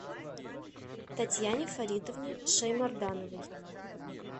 татьяне фаритовне шаймардановой